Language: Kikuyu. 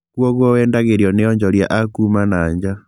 Kuũguo wendagĩrio nĩ onjoria akuma na nja